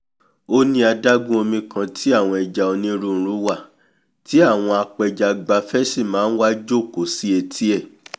ó ní adágún omi kan tí àwọn ẹja onírúirú wà tí àwọn apẹjagbafẹ́ sì máa nwa jòkó sí etí ẹ̀